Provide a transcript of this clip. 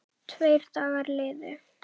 Tveir dagar liðu.